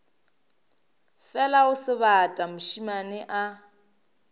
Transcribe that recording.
fela o sebata mošemane a